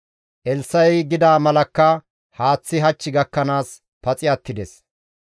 Elssa7i gida malakka haaththazi hach gakkanaas paxi attides.